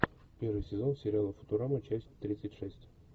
первый сезон сериала футурама часть тридцать шесть